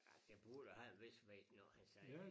Ej det burde have en vis vægt når han siger det